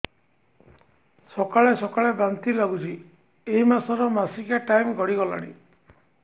ସକାଳେ ସକାଳେ ବାନ୍ତି ଲାଗୁଚି ଏଇ ମାସ ର ମାସିକିଆ ଟାଇମ ଗଡ଼ି ଗଲାଣି